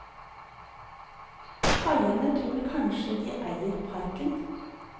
Kaiene tror kanskje de eier parken.